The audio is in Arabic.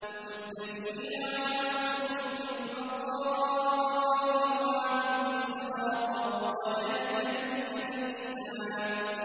مُتَّكِئِينَ عَلَىٰ فُرُشٍ بَطَائِنُهَا مِنْ إِسْتَبْرَقٍ ۚ وَجَنَى الْجَنَّتَيْنِ دَانٍ